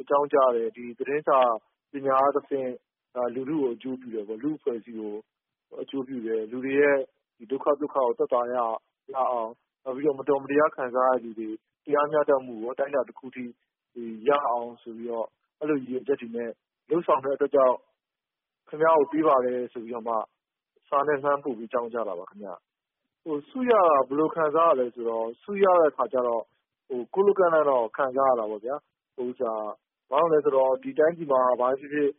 အကြောင်းကြားတယ်။ သတင်းစာပညာအားဖြင့် လူထုကို အကျိုးပြုတယ်ပေါ့၊ လူ့အဖွဲ့အစည်းကို အကျိုးပြုတယ်၊ လူတွေရဲ့ ဒုက္ခ သုက္ခကို သက်သာရာ ရအောင်၊ နောက်ပြီးတော့ မတော်မတရား ခံစားရသူတွေ၊ တရားမျှတမှုကို အတိုင်းအတာတခုအထိ ရအောင် ဆိုပြီး အဲဒီလို ရည်ရွယ်ချက်တွေနဲ့ လုပ်ဆောင်တဲ့အတွက်ကြောင့် ခင်ဗျားကို ပေးပါတယ်ဆိုပြီး စာနဲ့လှမ်းပို့ပြီး အကြောင်းကြားတာပါ ခင်ဗျ။ ဆုရတာ ဘယ်လို ခံစားရသလဲဆိုတော့ ဆုရတဲ့အခါကျတော့ ကို့ လို့ကန့်လန့်တော့ ခံစားရတာပေါ့ဗျာ။ ဘာလို့လဲဆိုတော့ ဒီတိုင်းပြည်မှာ ဘာပဲဖြစ်ဖြစ်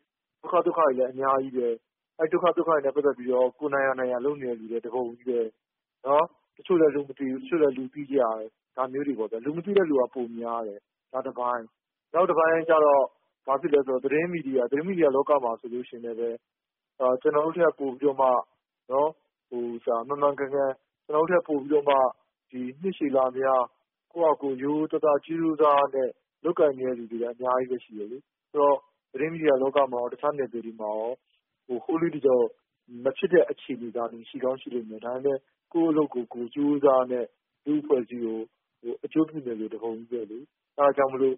ဒုက္ခတွေလဲအများကြီးပဲ။ အဲဒီ ဒုက္ခ သုက္ခတွေနဲ့ ပတ်သက်ပြီးတော့ နိုင်ရာ နိုင်ရာ လုပ်နေတဲ့ သူတွေလည်း တပုံကြီးပဲ။ တချို့လည်း လူမသိဘူး။ တချို့လည်း လူသိကြတယ်။ ဒါမျိုးတွေပေါ့ဗျာ။ လူမသိသူတွေက ပိုများတယ်။ ဒါတပိုင်း။ နောက်တပိုင်းကျတော့ သတင်းမီဒီယာလောကမှာဆိုရင်လည်းပဲ ကျနော်တို့ထက် ပိုပြီးတော့ မှန်မှန်ကန်ကန်၊ နှစ်ရှည်လများ ကိုယ့်ဖာသာကိုယ် ရိုးရိုးသားသား ကြိုးကြိုးစားစားနဲ့ လုပ်ကိုင်နေတဲ့သူတွေက အများကြီး ရှိတယ်လေ။ သတင်းမီဒီယာလောကမှာရော၊ တခြားနယ်ပယ်တွေမှာရော ဟိုးလေးတကျော် မဖြစ်တဲ့အခြေအနေသာလျှင် ရှိသာရှိလိမ့်မယ်။ ဒါပေမယ့် ကိုယ့်အလုပ်ကိုယ် ကြိုးကြိုးစားစားနဲ့ လူ့အဖွဲ့အစည်းကို အကျိုးပြုနေတဲ့သူတွေ တပုံကြီးပဲလေ။ အဲဒါကြောင့်မို့လို့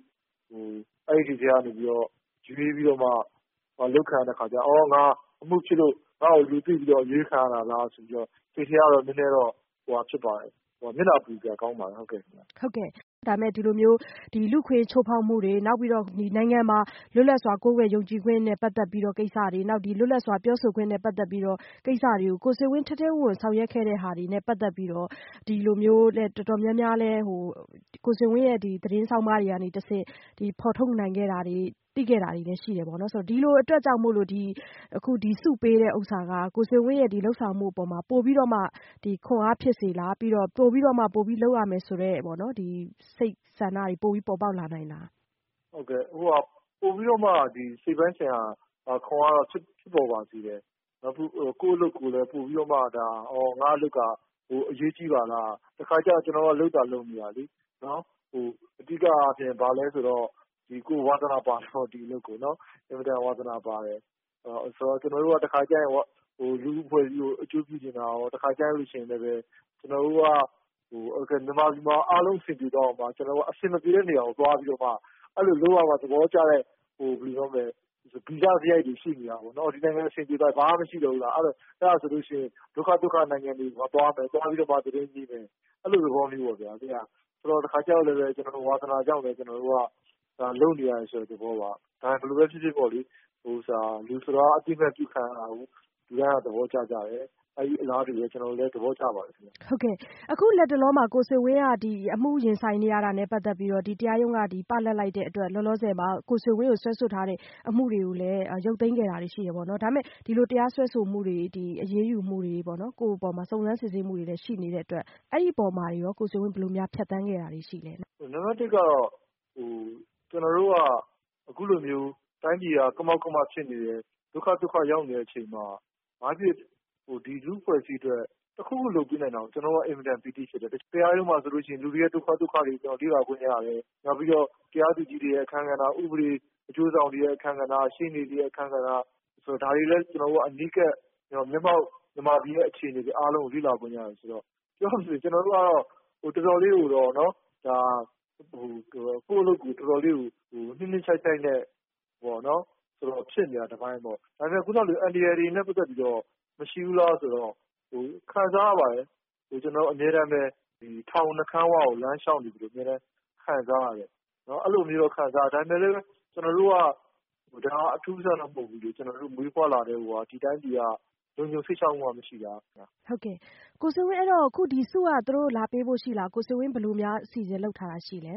အဲဒီလူတွေထဲကနေပြီးတော့ အရွေးခံရတာကျတော့ သြော်၊ ငါ အမှုဖြစ်လို့ ငါ့ကို လူတွေ့ပြီးတော့မှ အရွေးခံရတာလားဆိုပြီးတော့ စိတ်ထဲက နည်းနည်း မျက်နှာပူစရာကောင်းပါတယ်။ ဟုတ်ကဲ့။ ဒါပေမယ့် ဒီလိုမျိုး လူ့အခွင့်အရေးချိုးဖောက်မှုတွေ၊ နိုင်ငံမှာ လွတ်လပ်စွာ ကိုးကွယ်ယုံကြည်မှုနဲ့ ပတ်သက်တဲ့ ကိစ္စတွေ၊ နောက် လွတ်လပ်စွာ ပြောဆိုခွင့်နဲ့ ပတ်သက်တဲ့ ကိစ္စတွေကို ကိုဆွေဝင်း ထဲထဲဝင်ဝင်ဆောင်ရွက်ခဲ့တာတွေနဲ့ ပတ်သက်ပြီးတော့ ဒီလိုမျိုး ကိုဆွေဝင်းရဲ့ သတင်းဆောင်းပါးတွေကတဆင့် ဖော်ထုတ်နိုင်ခဲ့တာတွေ၊ သိခဲ့တာတွေလည်း ရှိတယ်။ ဒီလိုအတွက်ကြောင့် ဒီဆုပေးခြင်းဟာ ကိုဆွေဝင်းရဲ့ လုပ်ဆောင်မှုအပေါ် ပိုပြီးတော့ ခွန်အား ဖြစ်စေလား။ ပြီးတော့ ပိုပြီးလုပ်ရမယ်ဆိုတဲ့ စိတ်ဆန္ဒတွေ ပိုပြီး ပေါ်ပေါက်လာနိုင်လား။ ဟုတ်ကဲ့။ ပိုပြီးတော့မှ စိတ်ပိုင်းဆိုင်ရာ ခွန်အားတော့ ဖြစ်ပေါ်လာစေပါတယ်။ ကိုယ့်အလုပ်ကိုယ်တော့ ပိုပြီးတော့မှ - သြော်၊ ငါ့အလုပ်က အရေးကြီးပါလား၊ တခါတလေကျတော့ ကျနော်တို့က လုပ်သာလုပ်နေရတာလေ။ အဓိကအားဖြင့် ကိုယ်အင်မတန်ဝါသနာပါတဲ့ အလုပ်ဆိုတော့ ကျနော်တို့က တခါတလေကျရင် လူ့အဖွဲ့အစည်းကို အကျိုးပြုချင်တာရော၊ တခါတလေကျရင်လည်းပဲ မြန်မာပြည်မှာ အားလုံးအဆင်ပြေသွားအောင် ကျနော်တို့က အဆင်မပြေတဲ့နေရာကို သွားပြီးတော့ အဲဒီလို လုပ်ရမှ သဘောကျတဲ့ ဗီဇစရိုက်တွေ ရှိနေတာပေါ့။ အဆင်မပြေတဲ့နိုင်ငံမှာ အားလုံးပြေလည်သွားပြီး အဆင်မပြေတာတွေ မရှိတော့ရင် ဒုက္ခ သုက္ခ နိုင်ငံတွေကို သွားပြီးတော့မှ သတင်းရေးမယ်။ အဲဒီလို သဘောမျိုးပေါ့ဗျာ။ တခါတလေကျတော့လည်းပဲ ကျနော်တို့ရဲ့ ဝါသနာကြောင့်လဲပဲ ကျနော်တို့က လုပ်နေရတယ်ဆိုတဲ့ သဘောပါ။ ဒါပေမယ့် ဘယ်လိုပဲ ဖြစ်ဖြစ်ပေါ့လေ။ လူဆိုတာက အသိအမှတ်ပြုခံရတာကို လူတိုင်းက သဘောကျကြတယ်။ အလားတူပဲ ကျနော်တို့လည်း သဘောကျပါတယ် ခင်ဗျ။ ဟုတ်ကဲ့ပါ။ အခုလတ်တလောမှာ ကိုဆွေဝင်းက အမှုရင်ဆိုင်နေရတာနဲ့ ပတ်သက်ပြီးတော့ တရားရုံးက ပလပ်လိုက်တဲ့အတွက် လောလောဆယ်မှာ ကိုဆွေဝင်းကို စွဲဆိုထားတဲ့ အမှုတွေကိုလည်း ရုပ်သိမ်းခဲ့တာတွေ ရှိတယ်ပေါ့။ ဒါပေမယ့် ဒီလို တရားစွဲဆိုမှုတွေ၊ အရေးယူမှုတွေ ကိုယ့်အပေါ် စုံစမ်းစစ်ဆေးမှုတွေလည်း ရှိနေတဲ့အပေါ်မှာရော ကိုဆွေဝင်း ဘယ်လို ဖြတ်သန်းခဲ့တာတွေ ရှိလဲ။ နံပတ် ၁ ကတော့ ကျနော်တို့က အခုလိုမျိုး တိုင်းပြည်က ကမောက်ကမ ဖြစ်နေတဲ့အချိန်၊ ဒုက္ခ သုက္ခရောက်နေတဲ့အချိန်မှာ ဘာပဲဖြစ်ဖြစ် လူ့အဖွဲ့အစည်းအတွက် တခုခု လုပ်ပေးနိုင်တာကို ကျနော်တို့က အင်မတန် ပီတိဖြစ်တယ်။ တရားရုံးမှာဆိုရင် လူတွေရဲ့ ဒုက္ခ သုက္ခတွေကို လေ့လာခွင့်ရတယ်။ တရားသူကြီးတွေရဲ့ အခန်းကဏ္ဍ၊ ဥပဒေအကျိုးဆောင်တွေရဲ့ အခန်းကဏ္ဍ၊ ရှေ့နေတွေရဲ့ အခန်းကဏ္ဍ၊ ဒါတွေကိုလည်း ကျနော်တို့က အနီးကပ် မျက်မှောက်မြန်မာပြည်ရဲ့ အခြေအနေတွေ အားလုံးကို လေ့လာခွင့်ရတယ်ဆိုတော့ ပြောရမယ်ဆိုရင် ကျနော်တို့က ကိုယ့်အလုပ်ကိုယ် တော်တော်လေးကို နှစ်နှစ်ခြိုက်ခြိုက်နဲ့ဖြစ်နေတာက တပိုင်း၊ ဒါပေမယ့် ခုနက ပြောသလို အန္တရာယ်တွေနဲ့ ပတ်သက်ပြီးတော့ မရှိဘူးလားဆိုတော့ ခံစားရပါတယ်။ ကျနော်တို့အမြဲတမ်းပဲ ထောင်နှုတ်ခမ်းဝကို လမ်းလျှောက်နေသလို အမြဲတမ်းပဲ ခံစားရတယ်။ အဲဒီလိုမျိုးတော့ ခံစားရတယ်။ ဒါပေမယ့်လည်း ကျနော်တို့အတွက် ဒါက အထူးအဆန်းတော့ မဟုတ်ဘူးလေ။ မွေးဖွားလာကတည်းကကိုက ဒီတိုင်းပြည်က လုံခြုံစိတ်ချမှုမှ မရှိတာ။ ဟုတ်ကဲ့။ ကိုဆွေဝင်းကို ဆုက သူတို့ လာပေးဖို့ ရှိလား။ ကိုဆွေဝင်း ဘယ်လိုအစီအစဉ်လုပ်ထားတာ ရှိလဲ